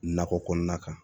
Nakɔ kɔnɔna kan